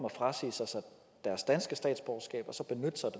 at frasige sig deres danske statsborgerskab og så benytte sig